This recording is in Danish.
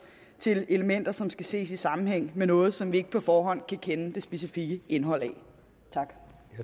til elementer som skal ses i sammenhæng med noget som vi ikke på forhånd kender det specifikke indhold af